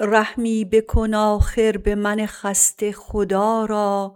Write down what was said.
رحمی بکن آخر به من خسته خدا را